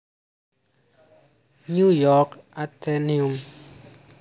New York Atheneum